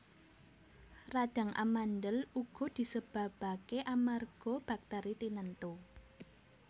Radhang amandhel uga disebabaké amarga baktèri tinentu